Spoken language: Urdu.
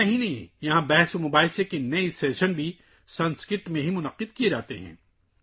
یہی نہیں، یہاں صرف سنسکرت میں کئی مباحثے بھی منعقد کیے جاتے ہیں